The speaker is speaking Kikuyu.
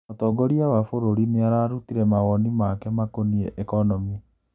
Mũtongoria wa bũrũri nĩ ararutire mawoni make makonie economĩ.